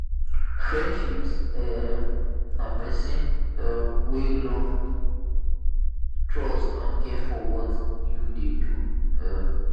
friendships um na pesin um wey love trust and care for what you dey do. um